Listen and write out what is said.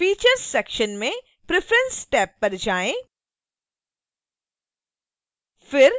features section में preference tab पर जाएँ